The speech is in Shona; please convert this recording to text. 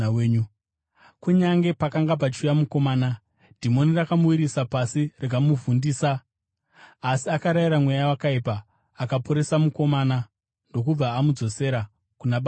Kunyange pakanga pachiuya mukomana, dhimoni rakamuwisira pasi rikamubvundisa. Asi akarayira mweya wakaipa, akaporesa mukomana ndokubva amudzosera kuna baba vake.